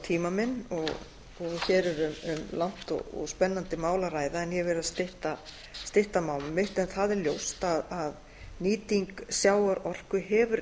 tíma minn og hér er um langt og spennandi mál að ræða en ég verð að stytta mál mitt það er ljóst að nýting sjávarorku hefði